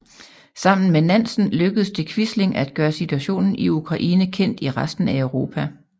Sammen med Nansen lykkedes det Quisling at gøre situationen i Ukraine kendt i resten af Europa